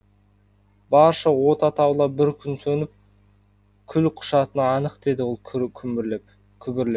барша от атаулы бір күні сөніп күл құшатыны анық деді ол күбірлеп